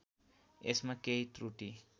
यसमा केही त्रुटी